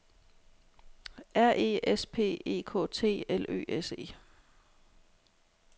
R E S P E K T L Ø S E